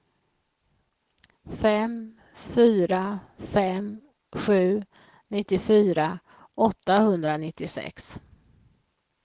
fem fyra fem sju nittiofyra åttahundranittiosex